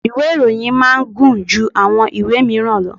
Ìwé ìròyìn máa ń gùn ju àwọn ìwé míràn lọ.